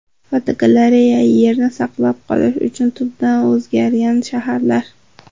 Fotogalereya: Yerni saqlab qolish uchun tubdan o‘zgargan shaharlar.